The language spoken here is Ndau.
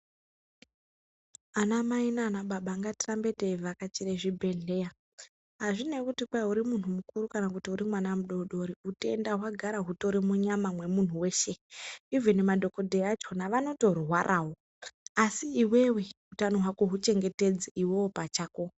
Anamai nababa ngatirambe teivhakichire zvibhedhleya. Azvinei kuti uri muntu mukuru kana kuti uri mwana mudoko utenda huri munyama mwemuntu weshe. Ivhini madhokodheya achona vanotorwarawo asi iwewe utano hwako huchengetedze iwewe pachako.